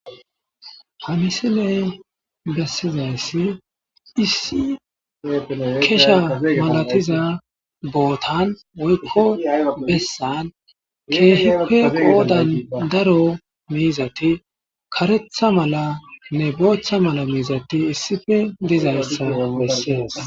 Ha misilen besizaysi issi kesa malatiza bootan bessan kehippe qoodan daro miizati karetha malanne bootha mala miizati issippe dizaysa besses.